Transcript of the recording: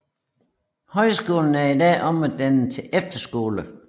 Højskolen er i dag omdannet til efterskole